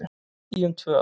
Í um tvö ár